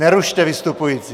Nerušte vystupující!